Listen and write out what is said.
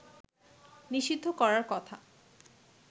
নিষিদ্ধ করার কথা